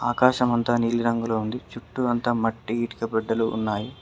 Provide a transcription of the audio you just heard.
ఆకాశమంత నీలి రంగులో ఉంది చుట్టూ అంతా మట్టి ఇటుక బెడ్డలు ఉన్నాయి.